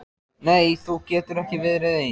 Nei þú getur ekki verið ein.